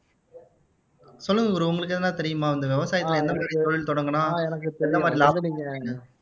சொல்லுங்க bro உங்களுக்கு எதுனா தெரியுமா இந்த விவசாயத்துல என்னென்ன தொழில் தொடங்குனா எனக்கு எந்த மாதிரி லாபம் தெரியும்